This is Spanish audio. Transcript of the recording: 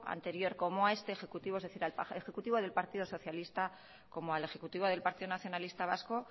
anterior como a este ejecutivo es decir al ejecutivo del partido socialista como el ejecutivo del partido nacionalista vasco